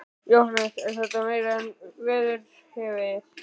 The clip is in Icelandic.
Jóhannes: Er þetta meira en verið hefur?